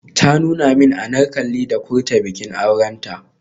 Ta nuna min Anarkali da Kurta bikin aurenta.